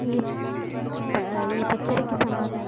ఈ ఈ పిక్చర్ కి సంబంధించి--